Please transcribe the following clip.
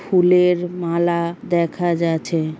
ফুলের মালা দেখা যাচ্ছে।